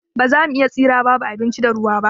Ba za mu iya tsira babu abinci da ruwa ba.